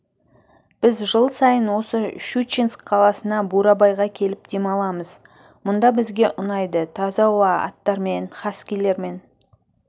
біз жыл сайын осы щучинск қаласына бурабайға келіп демаламыз мұнда бізге ұнайды таза ауа аттармен хаскилармен